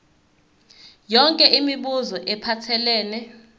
yonke imibuzo ephathelene